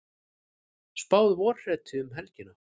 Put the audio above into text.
Spáð vorhreti um helgina